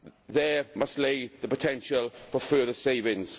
There must be the potential for further savings.